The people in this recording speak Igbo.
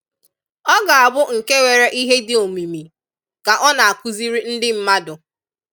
Ọ ga-abụ nke nwere ihe dị omimi ka ọ na-akụziri ndị mmadụ.